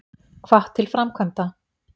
Hvatt til framkvæmda